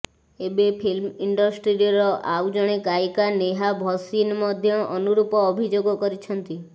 ଏବେ ଫିଲ୍ମ ଇଣ୍ଡଷ୍ଟ୍ରିର ଆଉ ଜଣେ ଗାୟିକା ନେହା ଭସିନ ମଧ୍ୟ ଅନୁରୂପ ଅଭିଯୋଗ କରିଛନ୍ତି